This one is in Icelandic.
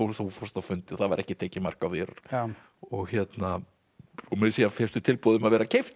þú fórst á fundi og það var ekki tekið mark á þér og og meira að segja fékkstu tilboð um að vera keyptur